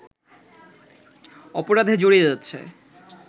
অপরাধে জড়িয়ে যাচ্ছে